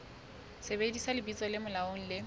sebedisa lebitso le molaong le